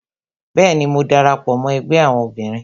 Bẹẹni, mo dara pọ mó ẹgbẹ́ àwọn obìnrin